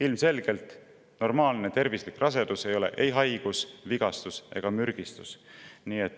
Ilmselgelt normaalne rasedus ei ole ei haigus, vigastus ega mürgistus.